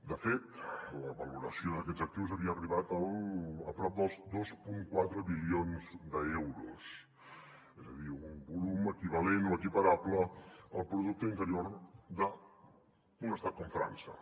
de fet la valoració d’aquests actius havia arribat a prop dels dos coma quatre bilions d’euros és a dir un volum equivalent o equiparable al producte interior d’un estat com frança